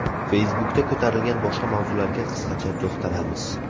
Facebook’da ko‘tarilgan boshqa mavzularga qisqacha to‘xtalamiz.